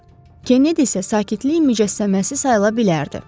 Kennedi isə sakitlik mücəssəməsi sayıla bilərdi.